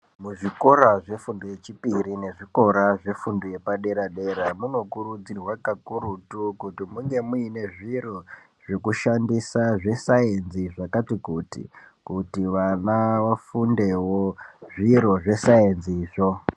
Kuzvikora zvefundo yechipiri nezvikora zvefundo yepadera dera munokurudzirwa kakurutu kuti munge muine zviro zvekushandisa zvesainzi zvakati kuti, kuti vana vafundewo zviro zvesainzizvo.